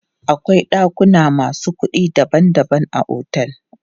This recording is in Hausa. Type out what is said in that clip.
Akwai ɗakuna masu kuɗi daban daban a otel.